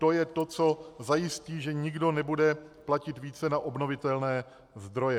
To je to, co zajistí, že nikdo nebude platit více na obnovitelné zdroje.